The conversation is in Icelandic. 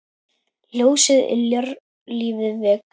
Ljósið yljar lífið vekur.